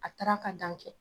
A taara ka dan kɛ!